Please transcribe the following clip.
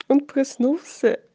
он проснулся